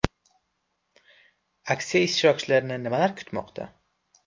Aksiya ishtirokchilarini nimalar kutmoqda?